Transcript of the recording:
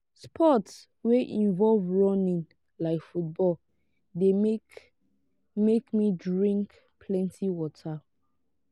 sport wey involve running like football de make make me drink plenty water